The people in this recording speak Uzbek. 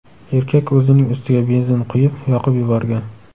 Erkak o‘zining ustiga benzin quyib, yoqib yuborgan.